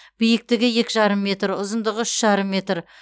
биіктігі екі жарым метр ұзындығы үш жарым метр